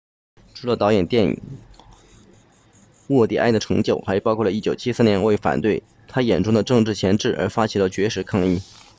除了导演电影沃蒂埃的成就还包括1973年为反对他眼中的政治钳制而发起的绝食抗议